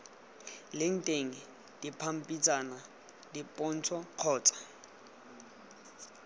leng teng dipampitshana dipontsho kgotsa